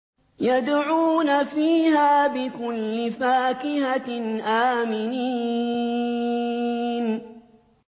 يَدْعُونَ فِيهَا بِكُلِّ فَاكِهَةٍ آمِنِينَ